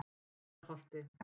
Heiðarholti